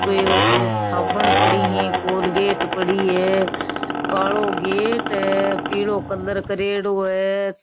साबुन पड़ी है कोलगेट पड़ी है कालो गेट है पिलो कलर करेडो है।